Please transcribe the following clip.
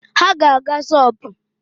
Ha ga-aga shọpụ